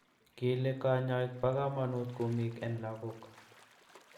Kile kanyaik ba kamanut kumik en lakok